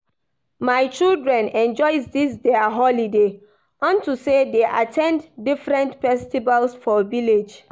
My children enjoy dis their holiday well unto say dey at ten d different festivals for village